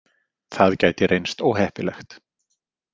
Það gæti reynst óheppilegt.